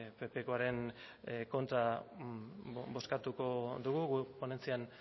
ppkoaren kontra bozkatuko dugu guk ponentzian